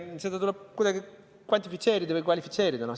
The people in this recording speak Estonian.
Seda tuleb kuidagi kvantifitseerida või kvalifitseerida.